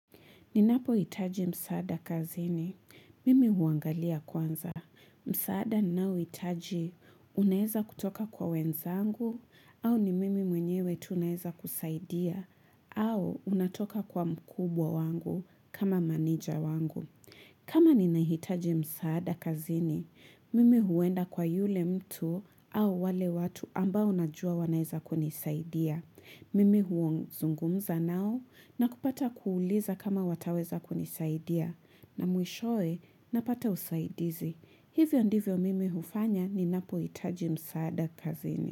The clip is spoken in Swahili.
Ninapohitaji msaada kazini, mimi huangalia kwanza. Msaada ninaohitaji, unaeza kutoka kwa wenzangu, au ni mimi mwenyewe tu naeza kusaidia, au unatoka kwa mkubwa wangu kama meneja wangu. Kama ninahitaji msaada kazini, mimi huenda kwa yule mtu au wale watu ambao najua wanaeza kunisaidia. Mimi huzungumza nao na kupata kuuliza kama wataweza kunisaidia na mwishowe napata usaidizi. Hivyo ndivyo mimi hufanya ninapohitaji msaada kazini.